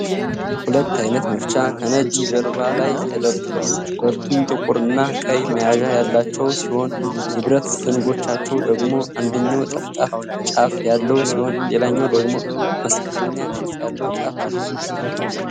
ሁለት አይነት መፍቻ ከነጭ ጀርባ ላይ ተደርድረዋል። ሁለቱም ጥቁር እና ቀይ መያዣ ያላቸው ሲሆን፣ የብረት ዘንጎቻቸው ደግሞ አንደኛው ጠፍጣፋ ጫፍ ያለው ሲሆን ሌላኛው ደግሞ መስቀለኛ ቅርጽ ያለው ጫፍ አለው።